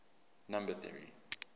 number theory